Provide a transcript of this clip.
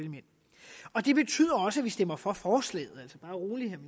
og det betyder også at vi stemmer for forslaget bare rolig vil